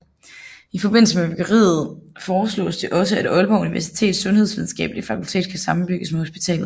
I forbindelse med byggeriet foreslås det også at Aalborg Universitets Sundhedsvidenskabelige Fakultet kan sammenbygges med hospitalet